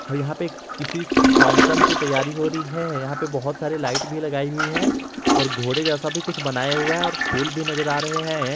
और यहां पे किसी फंक्शन की तैयारी हो रही है यहां पे बहुत सारे लाइट भी लगाई हुई है और घोड़े जैसा भी कुछ बनाए हुए हैं और फूल भी नजर आ रहे हैं।